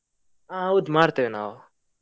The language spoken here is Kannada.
ಹಾ ಹೌದು, ಮಾಡ್ತೇವೆ ನಾವು.